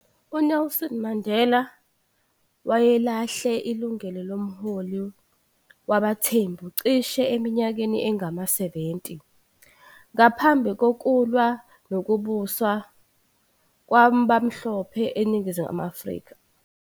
UNelson Mandela wayelahle ilungelo lomholi wabaThembu cishe eminyakeni engama-70 ngaphambi kokulwa nokubusa kwabamhlophe eNingizimu Afrika.